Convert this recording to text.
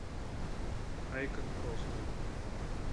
хай как просто